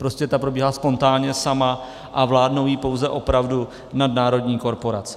Prostě ta probíhá spontánně sama a vládnou jí pouze opravdu nadnárodní korporace.